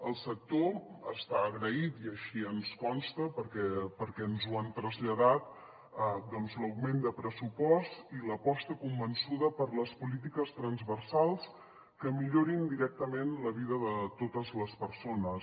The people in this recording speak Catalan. el sector està agraït i així ens consta perquè ens ho han traslladat per l’augment de pressupost i l’aposta convençuda per les polítiques transversals que milloren directament la vida de totes les persones